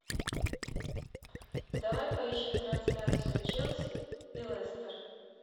давай поищем трансляцию челси и лестер